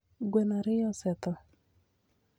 Gweno ariyo osetho